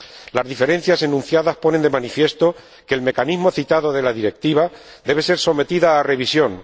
Las diferencias enunciadas ponen de manifiesto que el mecanismo citado de la Directiva debe ser sometido a revisión.